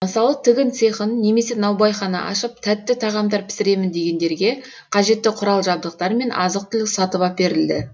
мысалы тігін цехын немесе наубайхана ашып тәтті тағамдар пісіремін дегендерге қажетті құрал жабдықтар мен азық түлік сатып әперілді